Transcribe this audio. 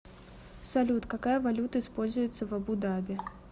салют какая валюта используется в абу даби